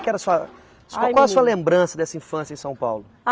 Que era a sua. Qual é a sua lembrança dessa infância em São Paulo?